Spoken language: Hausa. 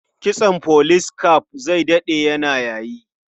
Kitson police cap zai daɗe yana yayi.